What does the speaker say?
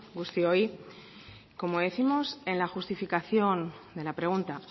guztioi como décimos en la justificación de la pregunta